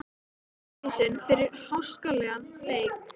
Brottvísun fyrir háskalegan leik?